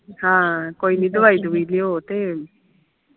ਹਾਂ ਕੋਈ ਨਾ ਦਵਾਈ ਦਵਯੂਞੀ ਲਿਉ ਤੇ